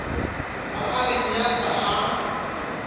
ba a re nyatsa ha